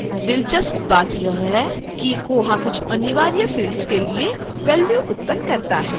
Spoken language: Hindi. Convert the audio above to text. दिलचस्प बात यह है कि koha कुछ अनिवार्य fields के लिए values उत्पन्न करता है